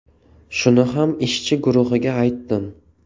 Shuni ham ishchi guruhiga aytdim.